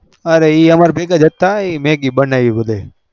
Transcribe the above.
અરે એ અમર ભેગજ હતા મેગી બન્નાવી બધા એ